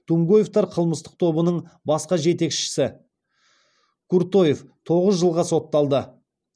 тумгоевтер қылмыстық тобының басқа жетекшісі куртоев тоғыз жылға сотталды